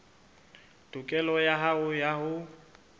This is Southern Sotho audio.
tokelo ya hao ya ho